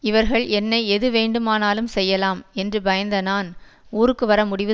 இவர்கள் என்னை எது வேண்டுமானாலும் செய்யலாம் என்று பயந்த நான் ஊருக்கு வர முடிவு